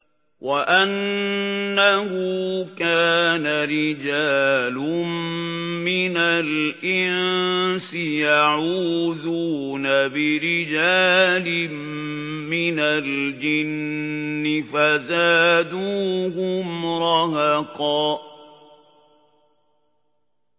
وَأَنَّهُ كَانَ رِجَالٌ مِّنَ الْإِنسِ يَعُوذُونَ بِرِجَالٍ مِّنَ الْجِنِّ فَزَادُوهُمْ رَهَقًا